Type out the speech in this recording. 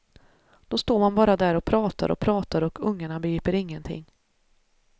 Då står man bara där och pratar och pratar och ungarna begriper ingenting.